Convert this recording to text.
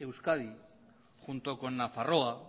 euskadi junto con nafarroa